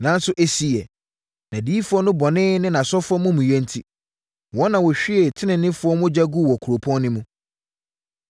Nanso ɛsiiɛ, nʼadiyifoɔ no bɔne ne nʼasɔfoɔ amumuyɛ enti, wɔn na wɔhwiee teneneefoɔ mogya guu wɔ kuropɔn no mu.